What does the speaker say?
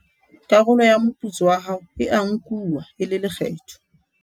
karolo ya moputso wa hao e a nkuwa e le lekgetho